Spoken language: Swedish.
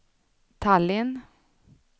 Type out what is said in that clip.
Tallinn